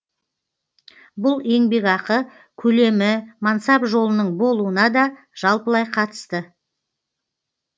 бұл еңбекақы көлемі мансап жолының болуына да жалпылай қатысты